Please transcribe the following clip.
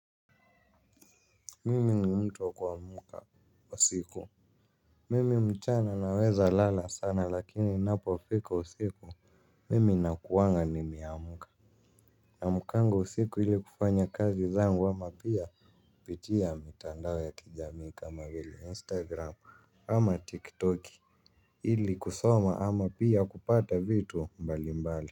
Mimi ni mtu wa kuamuka usiku. Mimi mchana naweza lala sana lakini inapo fika usiku mimi na kuanga nimeamuka. Na amukanga usiku ili kufanya kazi zangu ama pia pitia mitandao ya kijamii kama vile instagram. Ama tik toki ili kusoma ama pia kupata vitu mbali mbali.